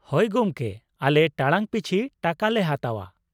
-ᱦᱳᱭ ᱜᱚᱢᱠᱮ ᱟᱞᱮ ᱴᱟᱲᱟᱝ ᱯᱤᱪᱷᱤ ᱴᱟᱠᱟ ᱞᱮ ᱦᱟᱛᱟᱣᱟ ᱾